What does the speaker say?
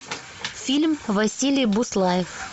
фильм василий буслаев